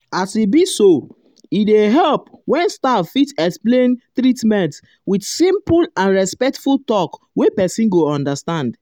as he be so um e dey help when staff fit explain um treatment with simple and respectful talk wey person go understand.